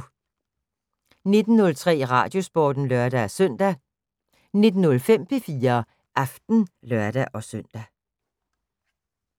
19:03: Radiosporten (lør-søn) 19:05: P4 Aften (lør-søn)